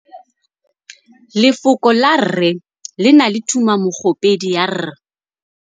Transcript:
Lefoko la rre, le na le tumammogôpedi ya, r.